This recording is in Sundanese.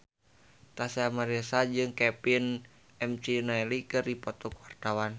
Tyas Mirasih jeung Kevin McNally keur dipoto ku wartawan